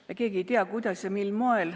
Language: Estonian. Me keegi ei tea, kuidas ja mil moel.